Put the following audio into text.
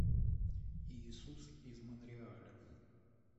иисус из монреаля